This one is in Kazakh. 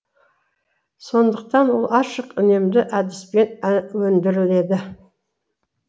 сондықтан ол ашық үнемді әдіспен өндіріледі